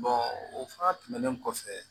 o fana tɛmɛnen kɔfɛ